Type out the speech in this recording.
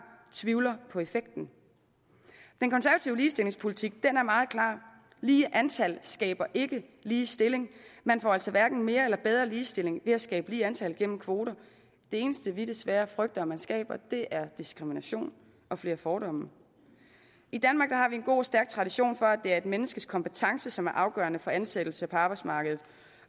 tvivler på effekten den konservative ligestillingspolitik er meget klar lige antal skaber ikke ligestilling man får altså hverken mere eller bedre ligestilling ved at skabe lige antal gennem kvoter det eneste vi desværre frygter man skaber er diskrimination og flere fordomme i danmark har vi en god og stærk tradition for at det er et menneskes kompetence som er afgørende for ansættelse på arbejdsmarkedet